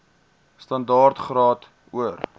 standaard graad or